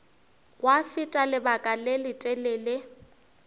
gwa feta lebaka le letelele